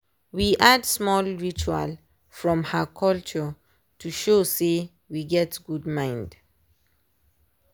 we add small ritual from her culture to show sey we get good mind.